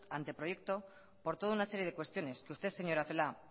anteproyecto por toda una serie de cuestiones que usted señora celaá